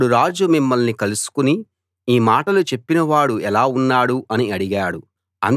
అప్పుడు రాజు మిమ్మల్ని కలుసుకుని ఈ మాటలు చెప్పినవాడు ఎలా ఉన్నాడు అని అడిగాడు